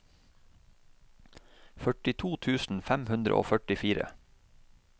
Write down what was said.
førtito tusen fem hundre og førtifire